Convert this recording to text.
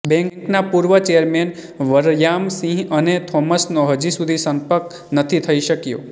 બેંકના પૂર્વ ચેરમેન વરયામસિંહ અને થોમસનો હજી સુધી સંપર્ક નથી થઇ શક્યો